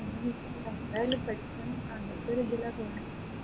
എന്തായാലും പഠിക്കണം അങ്ങൻതൊരിതിലാ പോവുന്നെ